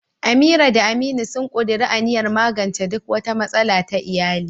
Amira da Aminu sun ƙuduri aniyar magance duk wata matsala ta iyali.